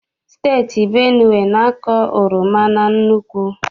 Steeti Benue na-akọ oroma na nnukwu.